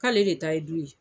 K'ale de ta ye du ye